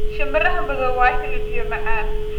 shinbiraha madow waa hilib iyo macaan